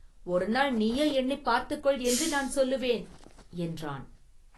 ‘ஒருநாள் நீயே எண்ணிப் பார்த்துக் கொள்’ என்று நான் சொல்லுவேன்” என்றான்.